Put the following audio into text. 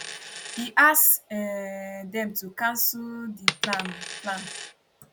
e ask um dem to cancel di plan plan